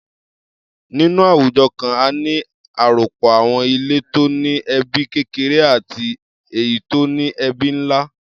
Nínú àwùjọ kan, a ní àròpọ̀ àwọn ilé tó ní ẹbí kékeré àti èyí tó ní ẹbí ńlá.